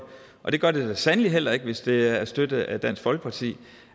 og det gør vi da sandelig heller ikke hvis det er støttet af dansk folkeparti